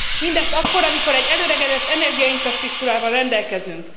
Mindezt akkor, amikor egy elöregedett energiainfrastruktúrával rendelkezünk.